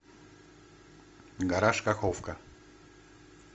гараж каховка